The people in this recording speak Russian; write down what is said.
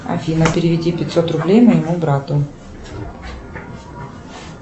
афина переведи пятьсот рублей моему брату